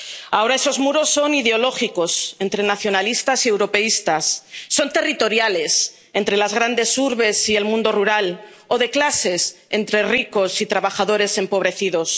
Ahora esos muros son ideológicos —entre nacionalistas y europeístas—, son territoriales —entre las grandes urbes y el mundo rural— o de clases —entre ricos y trabajadores empobrecidos—.